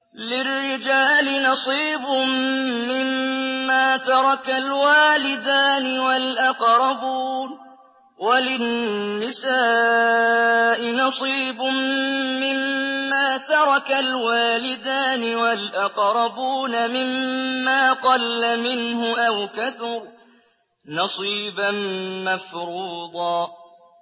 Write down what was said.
لِّلرِّجَالِ نَصِيبٌ مِّمَّا تَرَكَ الْوَالِدَانِ وَالْأَقْرَبُونَ وَلِلنِّسَاءِ نَصِيبٌ مِّمَّا تَرَكَ الْوَالِدَانِ وَالْأَقْرَبُونَ مِمَّا قَلَّ مِنْهُ أَوْ كَثُرَ ۚ نَصِيبًا مَّفْرُوضًا